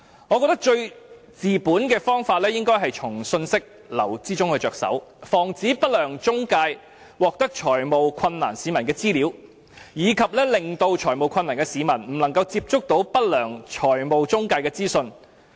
我認為最治本的方法是從信息流着手，防止不良中介獲得有財務困難的市民的資料，以及令有財務困難的市民不能接觸不良財務中介的資訊。